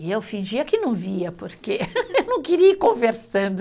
E eu fingia que não via, porque eu não queria ir conversando.